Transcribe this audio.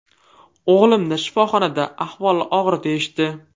O‘g‘limni shifoxonada, ahvoli og‘ir deyishdi.